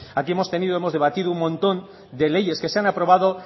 aquí hemos tenido hemos debatido un montón de leyes que se han aprobado